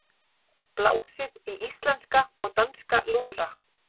Blásið í íslenska og danska lúðra